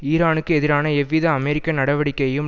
ஈரானுக்கு எதிரான எவ்வித அமெரிக்க நடவடிக்கையையும்